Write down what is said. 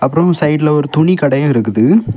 Road சைடுல ஒரு துணி கடையு இருக்குது.